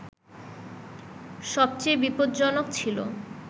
সবচেয়ে বিপজ্জনক ছিল